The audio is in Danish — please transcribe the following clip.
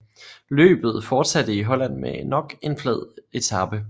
Løbet fortsatte i Holland med nok en flad etape